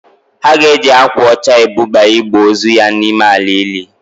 Ha ga-eji akwa ọcha ebuba igbe ozu ya n'ime ala ili?